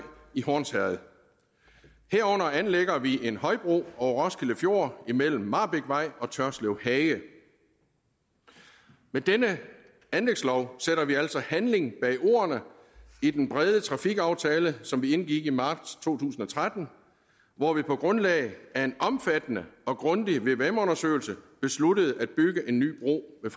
i hornsherred herunder anlægger vi en højbro over roskilde fjord imellem marbækvej og tørslev hage med denne anlægslov sætter vi altså handling bag ordene i den brede trafikaftale som vi indgik i marts to tusind og tretten hvor vi på grundlag af en omfattende og grundig vvm undersøgelse besluttede at bygge en ny bro ved